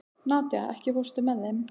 Nadía, ekki fórstu með þeim?